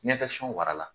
wara la